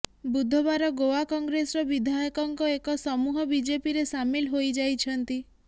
ବୁଧବାର ଗୋଆ କଂଗ୍ରେସର ବିଧାୟକଙ୍କ ଏକ ସମୂହ ବିଜେପିରେ ସାମିଲ ହୋଇଯାଇଛନ୍ତି